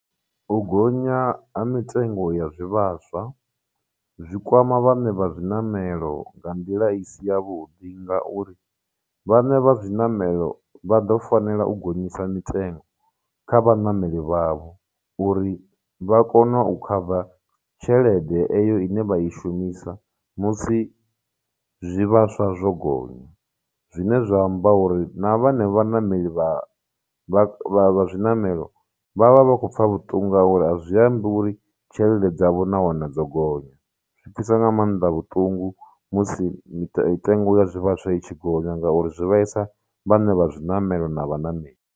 U gonya ha mitengo ya zwivhaswa zwikwama vhaṋe vha zwiṋamelo nga nḓila i si ya vhuḓi ngauri vhaṋe vha zwiṋamelo vha ḓo fanela u gonyisa mitengo kha vhaṋameli vha vho uri vha kone u khava tshelede eyo ine vha i shumisa musi zwivhaswa zwo gonya, zwine zwa amba uri na vhanevha vhaṋameli vha vha vha vha zwiṋamelo vha vha vha khou pfha vhuṱungu ngauri a zwi ambi uri tshelede dzavho na vhone dzo gonya. Zwi pfhisa nga maanḓa vhuṱungu musi mitengo ya zwivhaswa i tshi gonya ngauri zwi vhaisa vha ṋe vha zwiṋamelo na vhaṋameli.